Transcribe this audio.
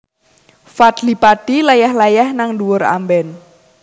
Fadly Padi leyeh leyeh nang dhuwur amben